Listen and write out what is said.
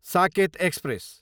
socket express